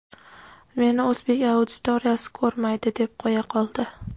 "Meni o‘zbek auditoriyasi ko‘rmaydi" deb qo‘ya qoldi.